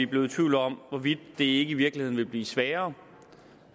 blevet i tvivl om hvorvidt det ikke i virkeligheden vil blive sværere